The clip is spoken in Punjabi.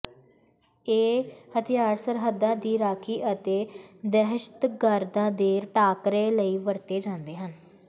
ਇਹ ਹਥਿਆਰ ਸਰਹੱਦਾਂ ਦੀ ਰਾਖੀ ਅਤੇ ਦਹਿਸ਼ਤਗਰਦਾਂ ਦੇ ਟਾਕਰੇ ਲਈ ਵਰਤੇ ਜਾਂਦੇ ਹਨ